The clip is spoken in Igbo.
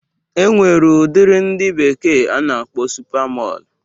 E nwere udiri ndị bekee na-akpọ supa Mọl